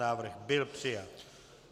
Návrh byl přijat.